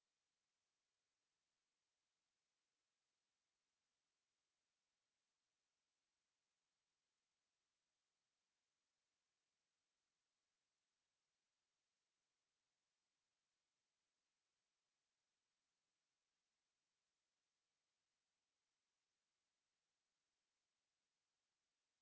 to